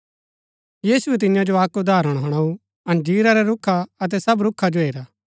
यीशुऐ तियां जो अक्क उदाहरण हुणाऊ अंजीर रै रूखा अतै सब रूखा जो हेरा